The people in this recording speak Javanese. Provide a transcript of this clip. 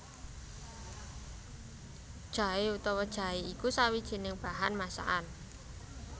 Jaé utawa jahé iku sawijining bahan masakan